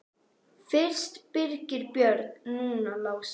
Fyrst Birgir Björn, núna Lási.